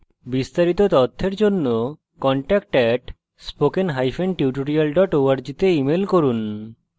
বিস্তারিত তথ্যের জন্য contact @spokentutorial org তে ইমেল করুন